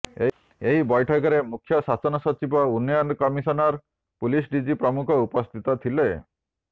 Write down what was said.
ଏହି ବୈଠକରେ ମୁଖ୍ୟ ଶାସନ ସଚିବ ଉନ୍ନୟନ କମିଶନର ପୁଲିସ ଡିଜି ପ୍ରମୁଖ ଉପସ୍ଥିତ ଥିଲେ